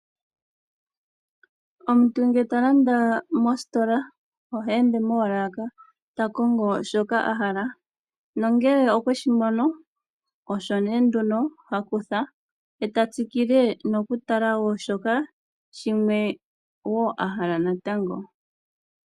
Omuntu nge ta landa mositola oheende moolaka ta kongo shoka a hala nongele okweshi mono osho nee ihe ha kutha ye ta tsikile nokutaka wo shimwe shoka wo ahala natango.